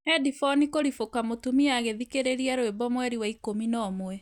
Headphone kũrĩbũka mũtũmia agĩthikĩrĩria rwĩmbo mweri wa ikũmi na ũmwe